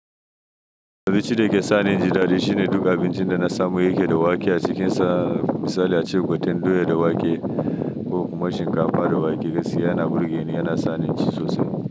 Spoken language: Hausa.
Wani abinci da yake sa ninji da dare shine duk abincin da na samu yake da wake a cikinsa. Misali a ce gwaten doya da wake ko kuma shinkafa da wake gaskiya na burge ni, yana sa ni inci sosai.